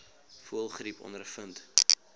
voëlgriep ondervind